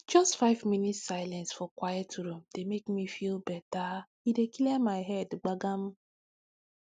just five minute silence for quiet room dey make me feel bettere dey clear my head gbagam